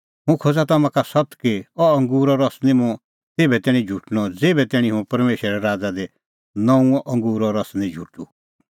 हुंह खोज़ा तम्हां का सत्त कि अह अंगूरो रस निं मुंह तेभै तैणीं झुटणअ ज़ेभै तैणीं हुंह परमेशरे राज़ा दी नऊंअ अंगूरो रस निं झुटूं